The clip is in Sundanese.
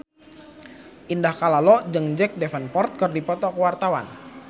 Indah Kalalo jeung Jack Davenport keur dipoto ku wartawan